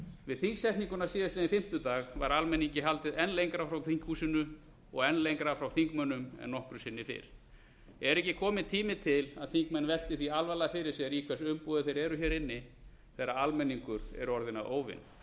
við þingsetninguna á fimmtudaginn var almenningi haldið enn lengra frá þinghúsinu og enn lengra frá þingmönnum en nokkru sinni fyrr er ekki kominn tími til að þingmenn velti því alvarlega fyrir sér í hvers umboði þeir eru hér inni þegar almenningur er orðinn að óvini